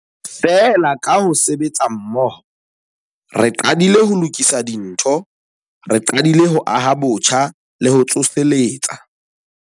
Feela, ka ho sebetsa mmoho, re qadile ho lokisa dintho. Re qadile ho aha botjha le ho tsoseletsa.